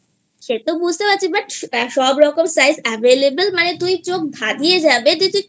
সে তো বুঝতে পারছি but সব রকমের size available এ মানে তোর চোখ ধাধিয়ে যাবে